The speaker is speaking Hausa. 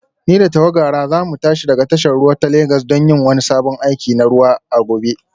Ni da tawagara za mu tashi daga tashar ruwa ta Legas don yin wani sabon aiki na ruwa a gobe